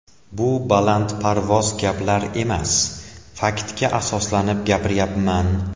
Bu balandparvoz gaplar emas, faktga asoslanib gapiryapman.